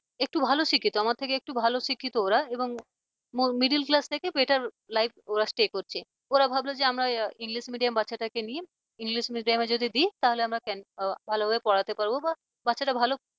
একটু ভালো শিক্ষিত আমার থেকে একটু ভালো শিক্ষিত ওরা এবং middle class থেকে better life ওরা stay করছে ওরা ভাবল যে আমরা english medium বাচ্চাটাকে নিয়ে english medium যদি দি তাহলে আমরা ভালোভাবে পড়াতে পারবো বা বাচ্চাটা ভালো